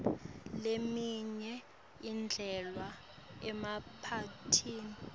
leminye idlalwa emaphathini